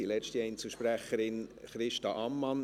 Die letzte Einzelsprecherin ist Christa Ammann.